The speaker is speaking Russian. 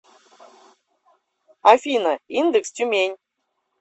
афина индекс тюмень